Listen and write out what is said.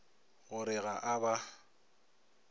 go re ga a ba